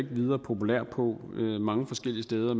videre populær på mange forskellige steder